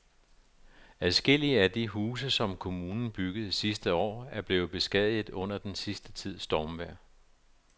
Adskillige af de huse, som kommunen byggede sidste år, er blevet beskadiget under den sidste tids stormvejr.